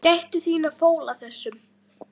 Gættu þín á fóla þessum.